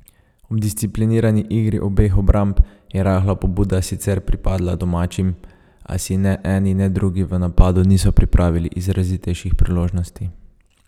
Ob disciplinirani igri obeh obramb je rahla pobuda sicer pripadla domačim, a si ne eni ne drugi v napadu niso pripravili izrazitejših priložnosti.